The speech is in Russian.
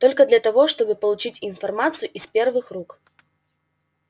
только для того чтобы получить информацию из первых рук